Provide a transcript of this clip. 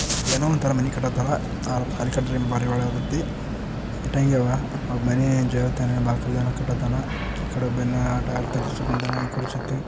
ಏನೋ ಒಂದು ತಾರಾ ಮನೆ ಕಟ್ಟಾತವ ಆರ್ ಬಳಿಕಟ್ರಿ ಬಾರಿ ಒಳಾಗುತ್ತಿ ಇಟ್ಟಂಗಿ ಅವ ಮನಿ ಜೊವತಾನಾ ಬಾಕಲ್ ಯೇನ ಕಟ್ಟತಾನಾ. ಈ ಕಡಿ ಒಬ್ಬೇನ ಯೇನ ಆಟಡ್